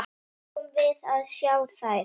Fáum við að sjá þær?